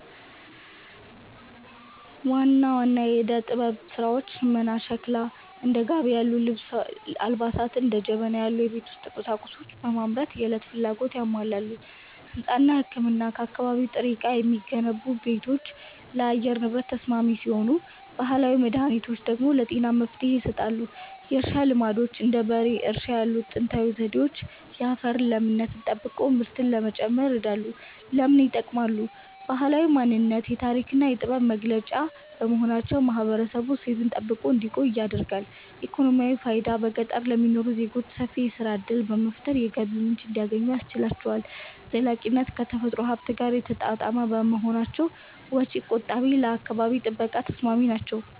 ዋና ዋና የዕደ-ጥበብ ሥራዎች ሽመናና ሸክላ፦ እንደ ጋቢ ያሉ አልባሳትንና እንደ ጀበና ያሉ የቤት ውስጥ ቁሳቁሶችን በማምረት የዕለት ፍላጎትን ያሟላሉ። ሕንጻና ሕክምና፦ ከአካባቢ ጥሬ ዕቃ የሚገነቡ ቤቶች ለአየር ንብረት ተስማሚ ሲሆኑ፣ ባህላዊ መድኃኒቶች ደግሞ ለጤና መፍትሔ ይሰጣሉ። የእርሻ ልማዶች፦ እንደ በሬ እርሻ ያሉ ጥንታዊ ዘዴዎች የአፈርን ለምነት ጠብቆ ምርትን ለመጨመር ይረዳሉ። ለምን ይጠቅማሉ? ባህላዊ ማንነት፦ የታሪክና የጥበብ መገለጫ በመሆናቸው ማህበረሰቡ እሴቱን ጠብቆ እንዲቆይ ያደርጋሉ። ኢኮኖሚያዊ ፋይዳ፦ በገጠር ለሚኖሩ ዜጎች ሰፊ የሥራ ዕድል በመፍጠር የገቢ ምንጭ እንዲያገኙ ያስችላቸዋል። ዘላቂነት፦ ከተፈጥሮ ሀብት ጋር የተጣጣሙ በመሆናቸው ወጪ ቆጣቢና ለአካባቢ ጥበቃ ተስማሚ ናቸው።